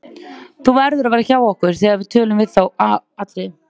Þú verður að vera hjá okkur þegar við tölun við þá Atriði.